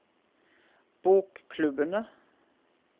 bokklubbene